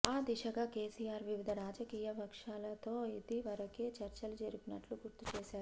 ఆ దిశగా కేసీఆర్ వివిధ రాజకీయ పక్షాలతో ఇదివరకే చర్చలు జరిపినట్లు గుర్తుచేశారు